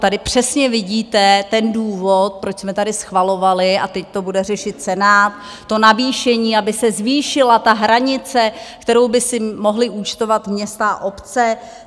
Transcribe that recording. Tady přesně vidíte ten důvod, proč jsme tady schvalovali, a teď to bude řešit Senát, to navýšení, aby se zvýšila ta hranice, kterou by si mohla účtovat města a obce.